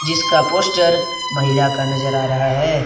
जिसका पोस्टर महिला का नजर आ रहा है।